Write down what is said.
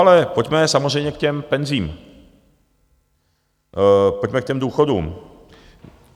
Ale pojďme samozřejmě k těm penzím, pojďme k těm důchodům.